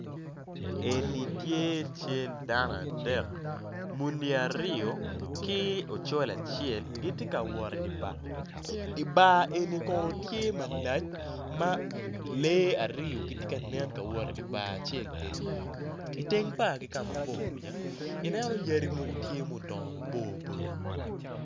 Eni tye cal dano adek muni aryo ki ocol acel gitye ka wot idye bar ibar eni kono tye malac ma lee aryo gitye kanen ka wot idye bar acel eni iteng bar ki kama bor kwica ineno yadi mogo tye ma gudongo maboco boco.